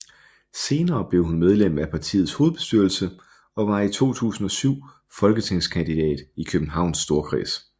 Senere blev hun medlem af partiets hovedbestyrelse og var i 2007 folketingskandidat i Københavns Storkreds